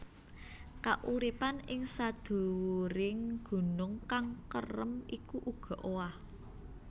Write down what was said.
Kauripan ing sadhuwuring gunung kang kerem iku uga owah